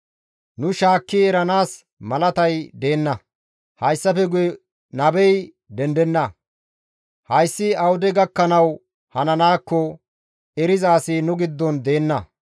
Nu shaakki eranaas malatay deenna; hayssafe guye nabey dendenna; Hayssi awude gakkanawu hananaakko eriza asi nu giddon deenna.